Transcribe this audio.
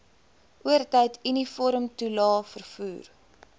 oortyd uniformtoelae vervoer